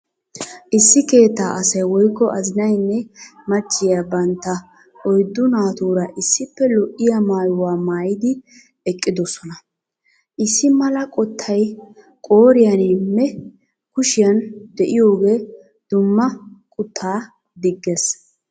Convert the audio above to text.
Issi keettaa asay woykko azinaynne machchiya bantta oyddu naatura issippe lo'iya maayuwaa maayidi eqqidosona. Issi mala qottay qooriyanimme kushiyan de'iyoogee dumma quttaa diggis.